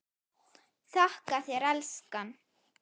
Þakka þér elskan.